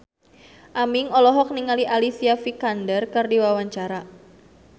Aming olohok ningali Alicia Vikander keur diwawancara